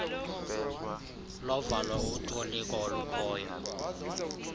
lovalo utoliko olukhoyo